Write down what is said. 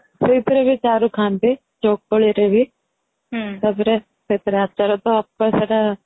ସେଇଥିରେ ବି ଚାରୁ ଖାଆନ୍ତି ଚକୁଳିରେ ବି ତାପରେ ସେଥିରେ ଆଚାର ତ